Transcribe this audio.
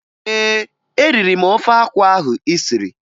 Ee, eriri m ofe akwụ ahụ ị siri